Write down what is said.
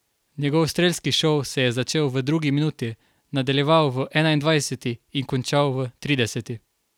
Njegov strelski šov se je začel v drugi minuti, nadaljeval v enaindvajseti in končal v trideseti.